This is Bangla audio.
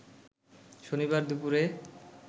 শনিবার দুপুরে